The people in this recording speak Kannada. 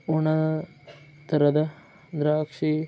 ಒಣ ತರದ ದ್ರಾಕ್ಷೀ.